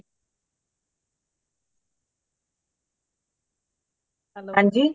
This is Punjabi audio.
ਹਾਂਜੀ